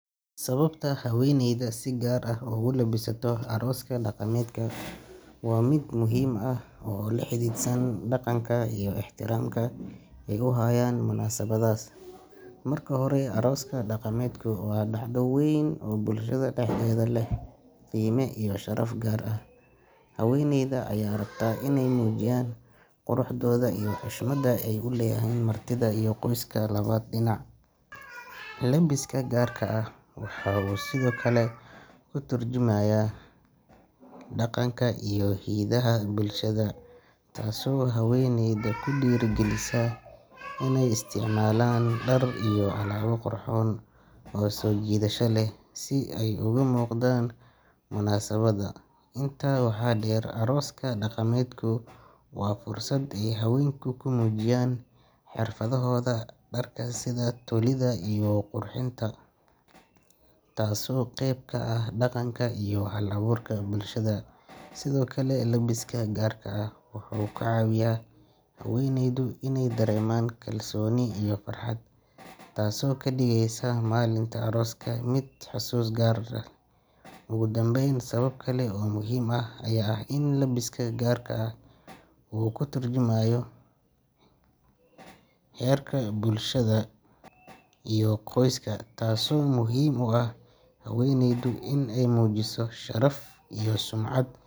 Sababta haweneyda si gaar ah ugu labisato arooska daqamedka waa mid muhiim ah oo xidhiidhsan dhaqanka iyo ixtiraamka ay u hayaan munaasabaddaas. Marka hore, arooska daqamedku waa dhacdo weyn oo bulshada dhexdeeda leh qiime iyo sharaf gaar ah, haweneyda ayaa rabta inay muujiyaan quruxdooda iyo xushmadda ay u hayaan martida iyo qoyska labada dhinac. Labiska gaarka ah waxa uu sidoo kale ka tarjumayaa dhaqanka iyo hidaha bulshada, taasoo haweneyda ku dhiirrigelisa inay isticmaalaan dhar iyo alaabo qurxoon oo soo jiidasho leh si ay uga muuqdaan munaasabadda. Intaa waxaa dheer, arooska daqamedku waa fursad ay haweenku ku muujiyaan xirfadahooda dharka sida tolidda iyo qurxinta, taasoo qayb ka ah dhaqanka iyo hal-abuurka bulshada. Sidoo kale, labiska gaarka ah wuxuu ka caawiyaa haweneyda inay dareemaan kalsooni iyo farxad, taasoo ka dhigaysa maalinta arooska mid xusuus gaar ah leh. Ugu dambeyn, sabab kale oo muhiim ah ayaa ah in labiska gaarka ahi uu ka turjumayo heerka bulshada iyo qoyska, taasoo muhiim u ah haweneyda inay muujiso sharaf iyo sumcad.